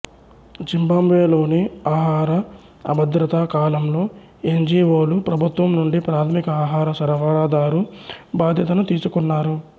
జింబాబ్వేలోని ఆహార అభద్రతా కాలంలో ఎన్ జి ఒ లు ప్రభుత్వం నుండి ప్రాథమిక ఆహార సరఫరాదారు బాధ్యతను తీసుకున్నారు